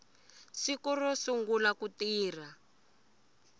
siku ro sungula ku tirha